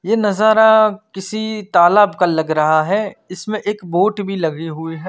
यह नजारा किसी तालाब का लग रहा है इसमें एक बोर्ट भी लगी हुई है।